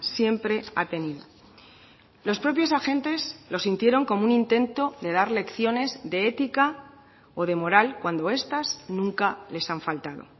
siempre ha tenido los propios agentes lo sintieron como un intento de dar lecciones de ética o de moral cuando estas nunca les han faltado